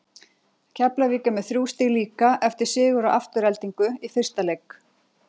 Keflavík er með þrjú stig líka eftir sigur á Aftureldingu í fyrsta leik.